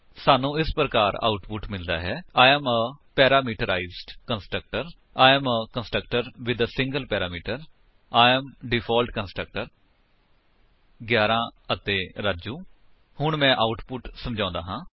ਸਾਨੂੰ ਇਸ ਪ੍ਰਕਾਰ ਆਉਟਪੁਟ ਮਿਲਦਾ ਹੈ I am a parameterized constructor I am a constructor with a single parameter I am default constructor 11 ਅਤੇ ਰਾਜੂ ਹੁਣ ਮੈਂ ਆਉਟਪੁਟ ਸਮਝਾਂਦਾ ਹਾਂ